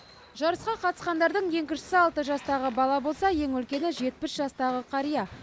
жарысқа қатысқандардың ең кішісі алты жастағы бала болса ең үлкені жетпіс жастағы қария